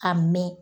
A mɛn